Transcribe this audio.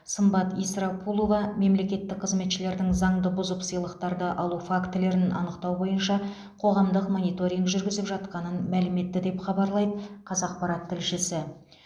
сымбат исрапулова мемлекеттік қызметшілердің заңды бұзып сыйлықтарды алу фактілерін анықтау бойынша қоғамдық мониторинг жүргізіліп жатқанын мәлім етті деп хабарлайды қазақпарат тілшісі